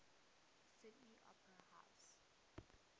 sydney opera house